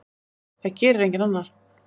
Það gerir enginn annar.